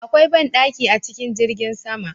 Akwai ban ɗaki a cikin jirgin sama